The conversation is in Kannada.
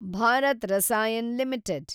ಭಾರತ್ ರಸಾಯನ್ ಲಿಮಿಟೆಡ್